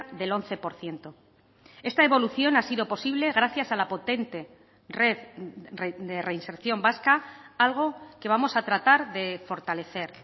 del once por ciento esta evolución ha sido posible gracias a la potente red de reinserción vasca algo que vamos a tratar de fortalecer